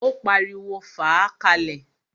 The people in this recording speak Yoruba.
Ó pariwo, "fàá ka lẹ̀!"